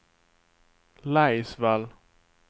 Laisvall